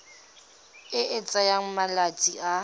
e e tsayang malatsi a